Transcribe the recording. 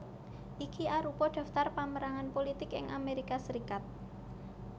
Iki arupa daftar pamérangan pulitik ing Amérika Sarékat